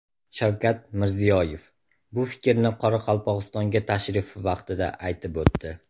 Shavkat Mirziyoyev bu fikrni Qoraqalpog‘istonga tashrifi vaqtida aytib o‘tdi.